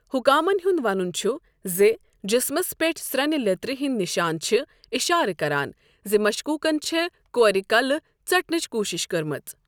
حُکامن ہُنٛد وَنُن چُھ زِ جِسمس پٮ۪ٹھ سٕرٛنہِ لیٚترِ ہِنٛدِ نِشانہٕ چھِ اِشارٕ کَران زِ مشكوُكن چھےٚ کورِ کَلہٕ ژٹنٕچ کوٗشِش کٔرمٕژ۔